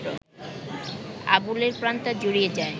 আবুলের প্রাণটা জুড়িয়ে যায়